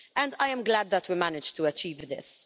I am glad that we managed to achieve this.